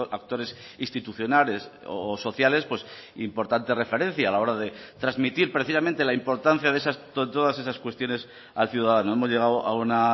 actores institucionales o sociales importante referencia a la hora de transmitir precisamente la importancia de todas esas cuestiones al ciudadano hemos llegado a una